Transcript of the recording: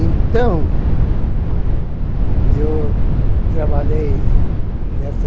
Então, eu trabalhei nessa...